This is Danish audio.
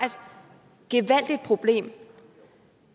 en